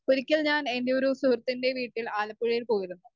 Speaker 1 ഒരിക്കൽ ഞാൻ എന്റെയൊരു സുഹൃത്തിന്റെ വീട്ടിൽ ആലപ്പുഴയിൽ പോയിരുന്നു.